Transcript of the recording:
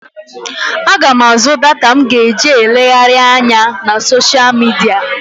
Aga m àzú data m ga-eji elegharị anya na soshial midia.